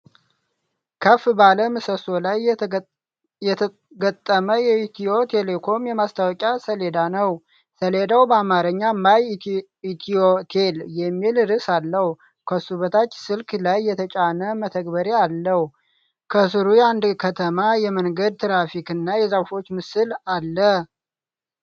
ከፍ ባለ ምሰሶ ላይ የተገጠመ የኢትዮ ቴሌኮም የማስታወቂያ ሰሌዳ ነው። ሰሌዳው በአማርኛ "ማይ ኢትዮቴል" የሚል ርዕስ አለው። ከሱ በታች ስልክ ላይ የተጫነ መተግበሪያ አለው። ከስሩ የአንድ ከተማ የመንገድ ትራፊክ እና የዛፎች ምስል አለ።